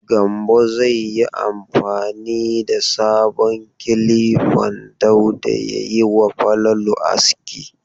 Gambo zai yi amfani da sabon kilifan Dauda ya yi wa Falalu aski..